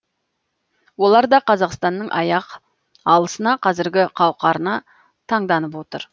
олар да қазақстанның аяқ алысына қазіргі қауқарына таңданып отыр